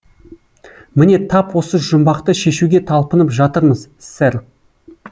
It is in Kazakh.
міне тап осы жұмбақты шешуге талпынып жатырмыз сэр